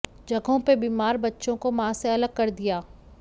जगहों पर बीमार बच्चों को मां से अलग कर दिया